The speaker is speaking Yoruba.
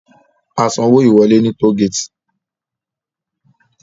A san owó ìwọlé ní toll gate